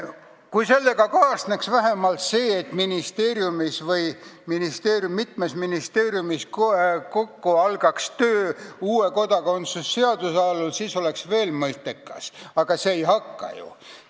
Kui sellega kaasneks vähemalt see, et ministeeriumis või mitmes ministeeriumis algaks töö uue kodakondsuse seaduse kallal, siis oleks sellel veel mõtet, aga ei alga ju.